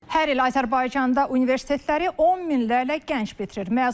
Hər il Azərbaycanda universitetləri on minlərlə gənc bitirir.